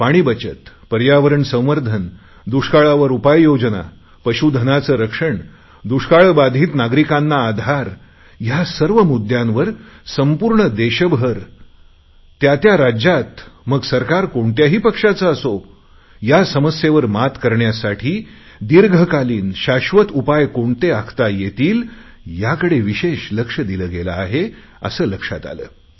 पाणी बचत पर्यावरण संवर्धन दुष्काळावर उपाययोजना पशुधनाचे रक्षण दुष्काळबाधित नागरिकांना आधार या सर्व मुद्दयांवर संपूर्ण देशभर त्या राज्यात सरकार कोणत्याही पक्षाचे असो या समस्येवर मात करण्यासाठी दीर्घकालीन शाश्वत उपाय कोणते आखता येतील याकडे विशेष लक्ष दिले गेले आहे असे लक्षात आले